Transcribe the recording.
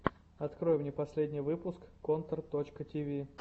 открой мне последний выпуск контор точка ти ви